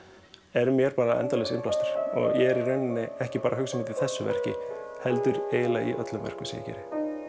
er mér endalaus innblástur ég er ekki bara að hugsa um þetta í þessu verki heldur í öllum verkum sem ég geri